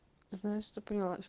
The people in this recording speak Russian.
знаешь что поняла